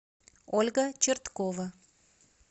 ольга черткова